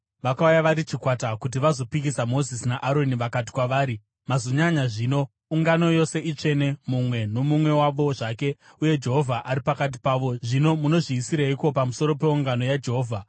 Vakauya vari chikwata kuti vazopikisa Mozisi naAroni vakati kwavari, “Mazonyanya zvino! Ungano yose itsvene, mumwe nomumwe wavo zvake, uye Jehovha ari pakati pavo. Zvino munozviisireiko pamusoro peungano yaJehovha?”